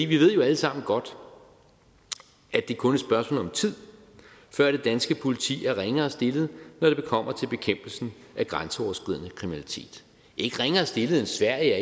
vi ved jo alle sammen godt at det kun spørgsmål om tid før det danske politi er ringere stillet når det kommer til bekæmpelsen af grænseoverskridende kriminalitet ikke ringere stillet end sverige